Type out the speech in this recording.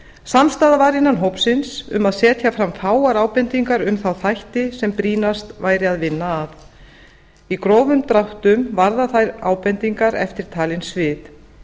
samstaða var innan hópsins um að setja fram fáar ábendingar um þá þætti sem brýnast væri að vinna að í grófum dráttum varða þær ábendingar eftirtalin svið